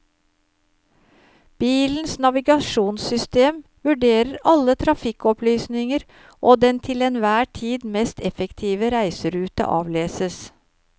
Bilens navigasjonssystem vurderer alle trafikkopplysninger og den til enhver tid mest effektive reiserute avleses.